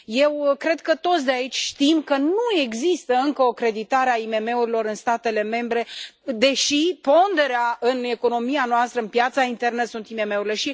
Eu cred că toți de aici știm că nu există încă o creditare a IMM urilor în statele membre, deși ponderea în economia noastră, în piața internă, sunt IMM urile.